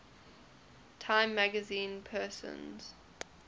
time magazine persons